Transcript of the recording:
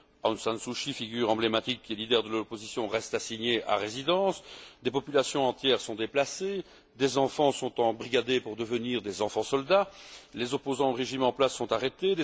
Aung San Suu Kyi, figure emblématique, qui est leader de l'opposition, reste assignée à résidence, des populations entières sont déplacées, des enfants sont embrigadés pour devenir des enfants soldats, les opposants au régime en place sont arrêtés.